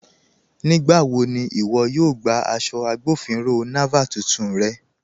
Nígbàwọ̀ ni iwọ̀ yóò gbà aṣọ̀ Agbọ̀finrọ̀ Naval tuntun rẹ̀?